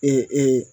Ee